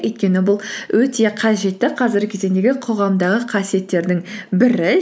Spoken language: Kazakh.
өйткені бұл өте қажетті қазіргі кезеңдегі қоғамдағы қасиеттердің бірі